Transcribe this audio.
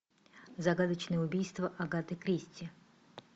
загадочное убийство агаты кристи